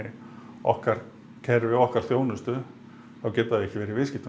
okkar kerfi okkar þjónustu þá getur það ekki verið í viðskiptum